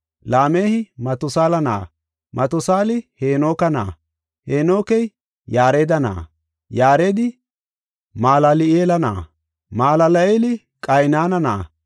Laamehi Matusaala na7a, Matusaali Heenoke na7a, Heenokey Yaareda na7a, Yaaredi Malal7eela na7a, Malal7eeli Qaynana na7a,